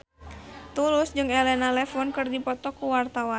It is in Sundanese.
Tulus jeung Elena Levon keur dipoto ku wartawan